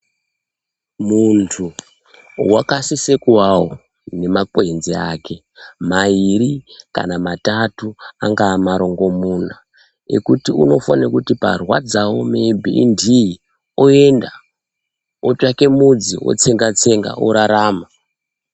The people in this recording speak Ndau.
Muntu wakasise kuwavo nemakwenzi ake mairi kana matatu angave marongomuna ekuti unofanire kuti parwadzawo meyibhi indiyi oenda otsvake mudzi otsenga tsenga orarama.